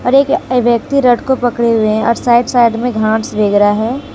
और एक व्यक्ति रॉड को पकड़े हुए हैं और साईड साईड में घास वगैरा हैं।